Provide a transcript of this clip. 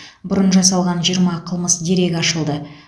бұрын жасалған жиырма қылмыс дерегі ашылды